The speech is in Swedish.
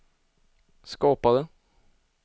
skapade